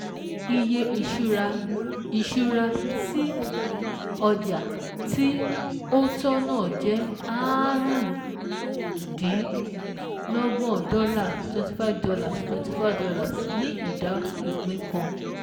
Iye ìṣura tí ọjà tí ó tọ́ náà jẹ́ aárún-dín-lọ́gbọ̀n dọ́là ($ twenty five )($ twenty five ) ní ìdá ìpín kan